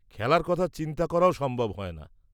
-খেলার কথা চিন্তা করাও সম্ভব হয়না।